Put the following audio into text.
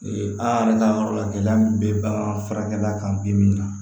an yɛrɛ ka yɔrɔ la gɛlɛya min bɛ bagan furakɛ la kan bi min na